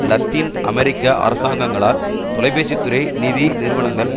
இலத்தீன் அமெரிக்க அரசாங்கங்களால் தொலைபேசித்துறை நிதி நிறுவனங்கள்